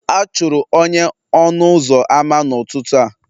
A chụrụ onye ọnụ ụzọ ámá n'ụtụtụ taa